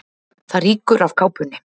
Það rýkur af kápunni.